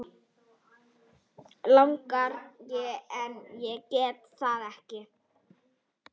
Langar en getur það ekki.